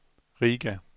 Riga